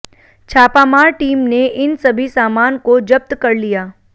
छापामार टीम ने इन सभी सामान को जब्त कर लिया